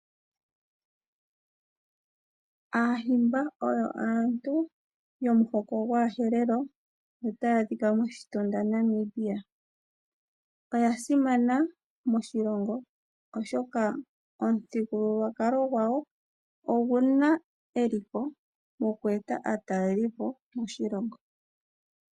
Aahimba oyo aantu yomuhoko gwaaherero. Otaya adhika moshitinda Namibia. Oya simana moshilongo oshoka omithigululwakalo gwa wo oguna eliko nokweeta aatalelipo moshilongo.